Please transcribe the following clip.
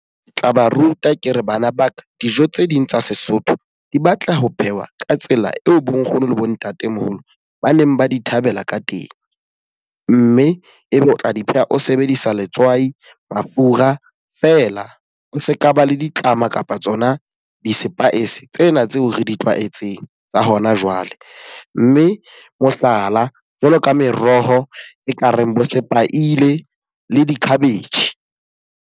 Ke tla ba ruta ke re bana ba ka, dijo tse ding tsa Sesotho di batla ho phehwa ka tsela eo bo nkgono le bo ntatemoholo ba neng ba di thabela ka teng. Mme e be o tla di pheha o sebedisa letswai, mafura fela se ka ba le ditlama kapa tsona di-spice tsena tseo re di tlwaetseng tsa hona jwale. Mme mohlala, jwalo ka meroho e ka reng bo sepaile le di-cabbage.